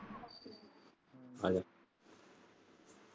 ਆਜਾ